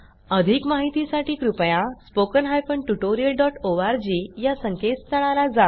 अधिक माहितीसाठी कृपया spoken hyphen tutorial dot O R G या संकेतस्थळाला जा